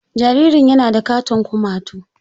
.Jaririn yana da katon kumatu.